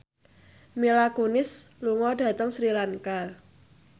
Mila Kunis lunga dhateng Sri Lanka